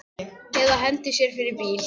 Eða hendi sér fyrir bíl.